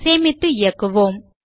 சேமித்து இயக்குவோம்